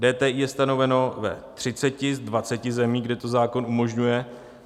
DTI je stanoveno ve 3 z 20 zemí, kde to zákon umožňuje.